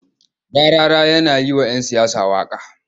Rarara yana yi wa'yan siyasa waƙa.